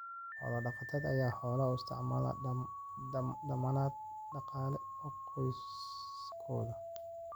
Xoolo-dhaqatada ayaa xoolaha u isticmaala dammaanad dhaqaale oo qoysaskooda.